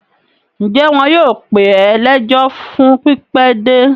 Ǹjẹ́ wọn yóò pè é lẹ́jọ́ fún pípẹ́ dé?